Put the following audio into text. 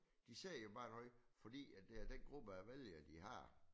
De siger jo bare noget fordi at det er den gruppe af vælgere de har